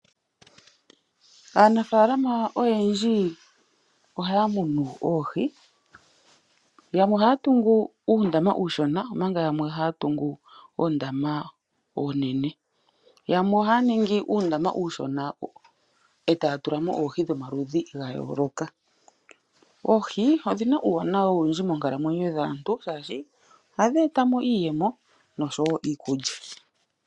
Aanafaalama oyendji ohaya munu oohi yamwe ohaya tungu uundama uushona omanga yamwe ohaya tungu oondama oonene. Yamwe ohaya ningi uundama uushona etaya tulamo oohi dhomaludhi ga yooloka. Oohi odhina uuwanawa owundji moonkalamwenyo dhaantu shaashi ohadhi eta mo iiyemo nosho woo iikulya.